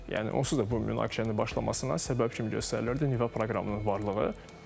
Yəni onsuz da bu münaqişənin başlamasına səbəb kimi göstərilirdi nüvə proqramının varlığı.